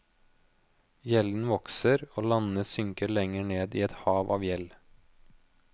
Gjelden vokser og landene synker lenger ned i et hav av gjeld.